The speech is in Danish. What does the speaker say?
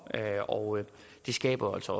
og det skaber altså